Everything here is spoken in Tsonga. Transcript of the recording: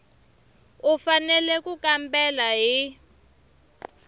u fanele ku kambela hi